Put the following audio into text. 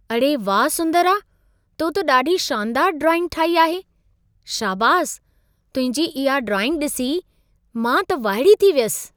अड़े वाह सुंदरा! तो त ॾाढी शानदारु ड्राइंग ठाही आहे। शाबासि, तुंहिंजी इहा ड्राइंग ॾिसी मां त वाइड़ी थी वियसि।